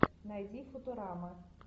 найди футурама